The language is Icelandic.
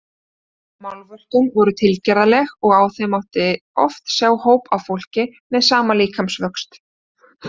Málverkin voru tilgerðarleg og á þeim mátti oft sjá hóp af fólki með sama líkamsvöxt.